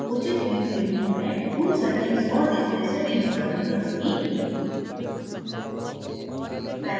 यहाँ उचित view के लिए मैं tool settings और display settings बंद करुँगी